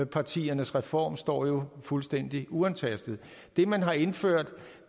partiernes reform står fuldstændig uantastet det man har indført